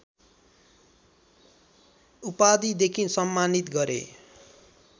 उपाधिदेखि सम्मानित गरे